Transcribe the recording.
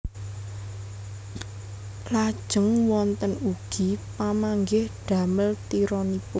Lajeng wonten ugi pamanggih damel tironipun